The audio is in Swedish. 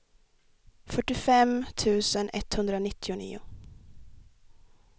fyrtiofem tusen etthundranittionio